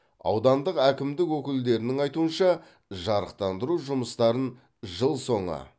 аудандық әкімдік өкілдерінің айтуынша жарықтандыру жұмыстарын жыл соңы